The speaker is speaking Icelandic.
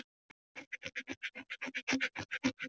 Mikið er gott að vera komin heim!